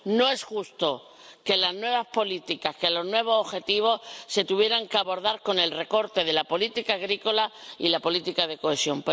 No es justo que las nuevas políticas, los nuevos objetivos, se tuvieran que abordar con el recorte de la política agrícola y la política de cohesión.